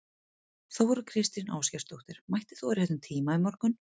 Þóra Kristín Ásgeirsdóttir: Mættir þú á réttum tíma í morgun?